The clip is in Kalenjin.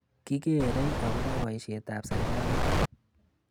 Kigeerei agoba boishetab serikalit